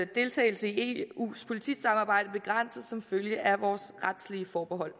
deltagelse i eus politisamarbejde begrænses som følge af vores retslige forbehold